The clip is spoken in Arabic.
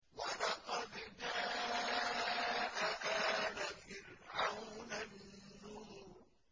وَلَقَدْ جَاءَ آلَ فِرْعَوْنَ النُّذُرُ